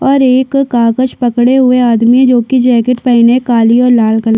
और एक कागज पकडे हुए आदमी जोकि जैकेट पहने काले और लाल कलर की--